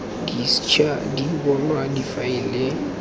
di ša di bonwa difaele